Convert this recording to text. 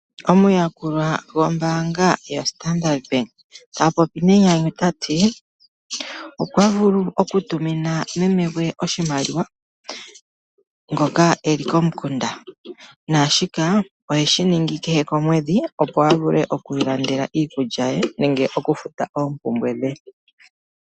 Omuyakulwa gombaanga yaStandard Bank tapopi nenyanyu tati, okwa vulu oku tumina meme gwe oshimaliwa ngoka eli komukunda naashika oheshi ningi kehe komwedhi opo avule oku ilandela iikulya ye nenge oku futa oopumbwe dhe.